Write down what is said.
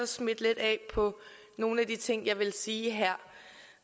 smitte lidt af på nogle af de ting jeg vil sige her